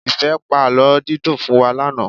Ìfẹ́ pa àlọ́ dídùn fún wa lánàá.